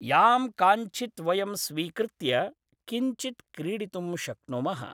यां काञ्चित् वयं स्वीकृत्य किञ्चित् क्रीडितुं शक्नुमः